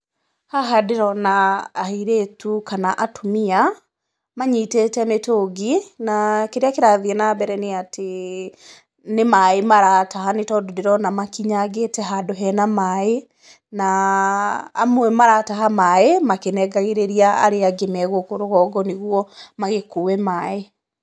Haha ndĩrona airĩtu kana atumia, manyitĩte mĩtungi, na kĩrĩa kĩrathiĩ na mbere nĩ atĩ, nĩ maaĩ marataha, tondũ ndĩrona makinyangĩte handũ hena maaĩ. Na amwe marataha maaĩ makĩnengagĩrĩria arĩa angĩ me gũkũ rũgongo, nĩguo magĩkuue maaĩ.